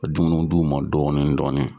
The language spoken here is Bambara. Dumuni d'u ma dɔɔni dɔɔni.